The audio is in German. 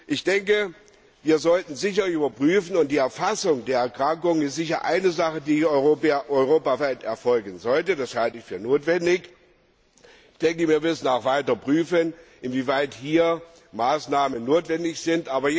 Ich denke, wir sollten überprüfen, und die Erfassung der Erkrankung ist sicher eine Sache, die europaweit erfolgen sollte, das halte ich für notwendig. Ich denke, wir müssen auch weiter prüfen, inwieweit hier Maßnahmen notwendig sind.